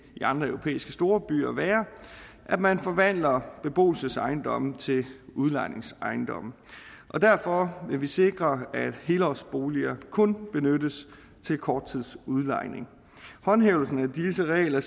i andre europæiske storbyer være at man forvandler beboelsesejendomme til udlejningsejendomme derfor vil vi sikre at helårsboliger kun benyttes til korttidsudlejning håndhævelsen af disse regler